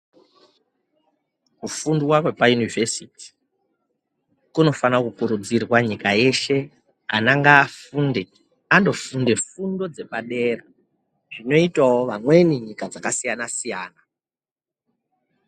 Kufundwa kwepaunivhesiti kunofana kukurudzirwa nyika yeshe, Ana ngaafunde, andofunda fundo dzepadera zvinoitawo vamweni nyika dzakasiyana siyana.